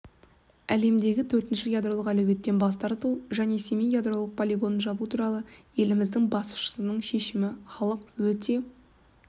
әлемдегі төртінші ядролық әлеуеттен бастарту және семей ядролық полигонын жабу туралы еліміздің басшысының шешімін халық өте